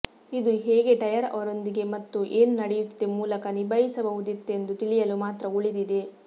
ಇದು ಹೇಗೆ ಟೈರ್ ಅವರೊಂದಿಗೆ ಮತ್ತು ಏನು ನಡೆಯುತ್ತಿದೆ ಮೂಲಕ ನಿಭಾಯಿಸಬಹುದಿತ್ತೆಂದು ತಿಳಿಯಲು ಮಾತ್ರ ಉಳಿದಿದೆ